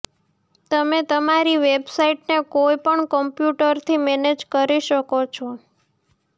તમે તમારી વેબસાઇટને કોઈપણ કમ્પ્યુટરથી મેનેજ કરી શકો છો